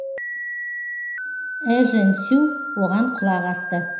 эжен сю оған құлақ асты